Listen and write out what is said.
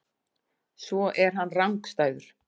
Svo er hann rangstæður.